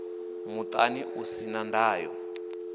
muṱani u si na ndayo